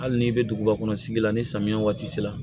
Hali n'i bɛ duguba kɔnɔ sigi la ni samiya waati sera